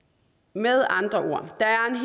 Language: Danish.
med andre ord